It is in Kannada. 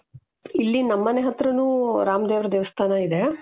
ಇಲ್ಲಿ ನಮ್ಮನೆ ಹತ್ತಿರನೂ ರಾಮ ದೇವರ ದೇವಸ್ಥಾನ ಇದೆ